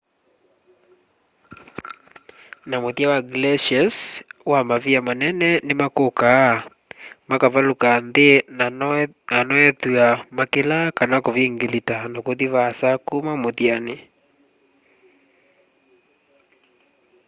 na muthya wa glaciers wa mavia manene nimakukaa makavaluka nthi na noethwa makilaa kana kuvingilita na kuthi vaasa kuma muthyani